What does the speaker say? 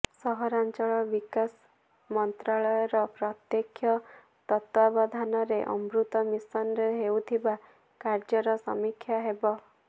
ସହରାଞ୍ଚଳ ବିକାଶ ମନ୍ତ୍ରଣାଳୟର ପ୍ରତ୍ୟେକ୍ଷ ତତ୍ତ୍ୱାବଧାନରେ ଅମୃତ ମିସନରେ ହେଉଥିବା କାର୍ଯ୍ୟର ସମୀକ୍ଷା ହେବ